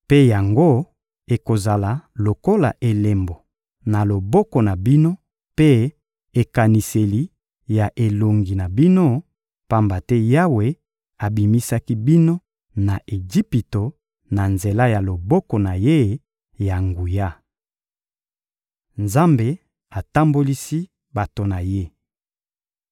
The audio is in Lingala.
Mpe yango ekozala lokola elembo na loboko na bino mpe ekaniseli na elongi na bino, pamba te Yawe abimisaki bino na Ejipito na nzela ya loboko na Ye ya nguya.» Nzambe atambolisi bato na Ye